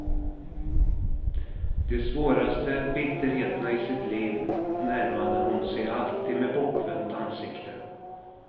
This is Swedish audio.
De svåraste bitterheterna i sitt liv närmade hon sig alltid med bortvänt ansikte.